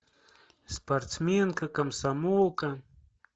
спортсменка комсомолка